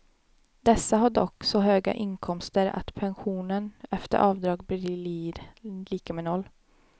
Dessa har dock så höga inkomster att pensionen efter avdrag blir lika med noll.